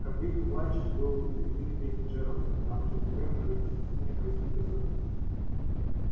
как видно плач был лебединой песней джералда потому что теперь он уже без стеснения повис на руке своего спутника